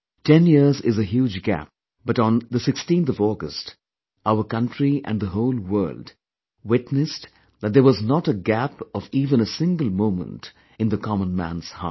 Ten years is a huge gap but on 16th August our country and the whole world witnessed that there was not a gap of even a single moment in the commonman's heart